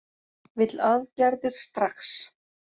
Vill aðgerðir strax